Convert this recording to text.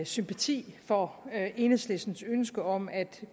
sympati for enhedslistens ønske om at